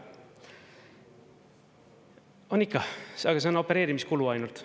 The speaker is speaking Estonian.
On ikka, aga see on opereerimiskulu ainult.